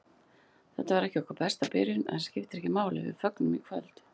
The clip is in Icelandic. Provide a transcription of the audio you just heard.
Þetta var ekki okkar besta byrjun, en það skiptir ekki máli, við fögnum í kvöld.